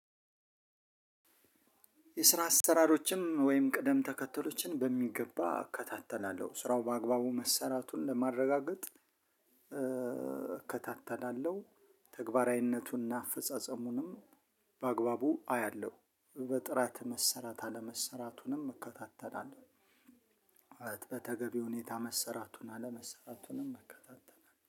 የስራ አሰራሮችም ወይም ቅደም ተከተሎችን በሚገባ እከታተላለሁ ስራው በአግባቡ መሰራቱን ለማረጋገጥ እከታተላለሁ ተግባራዊነቱን እና አፈጻጸሙንም በአግባቡ አያለሁ በጥራት መሰራት አለመሰራቱንም እከታተላለሁ። በተገቢ ሁኔታ መሰራቱን አለመሰራቱንም እከታተናለሁ